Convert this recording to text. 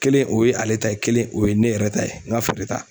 Kelen o ye ale ta ye kelen o ye ne yɛrɛ ta ye n ka feere ta.